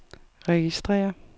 registrér